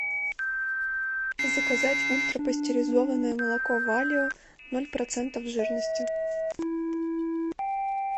заказать ультрапастеризованное молоко валио ноль процентов жирности